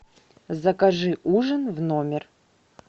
закажи ужин в номер